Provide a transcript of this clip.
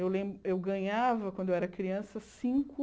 Eu ganhava, quando eu era criança, cinco...